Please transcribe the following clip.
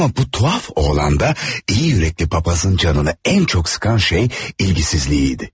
Ama bu tuhaf oğlanda iyi yürekli papazın canını en çok sıkan şey ilgisizliğiydi.